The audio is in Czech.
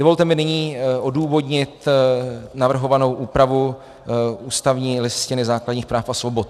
Dovolte mi nyní odůvodnit navrhovanou úpravu ústavní Listiny základních práv a svobod.